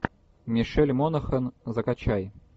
мишель монахэн закачай